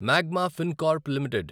magma Fincorp limited